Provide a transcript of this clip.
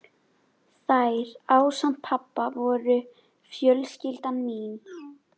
Þær, ásamt pabba, voru fjölskylda mín.